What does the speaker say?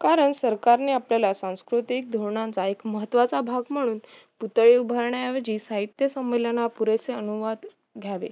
कारण सरकारने आपल्याला सांस्कृतिक धोरणाचा एक महत्वाचा भाग म्हणून पुतळे उभारण्या ऐवजी साहित्य संमेलन पुरेसे अनुवाद घावे